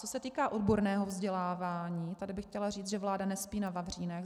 Co se týká odborného vzdělávání, tady bych chtěla říct, že vláda nespí na vavřínech.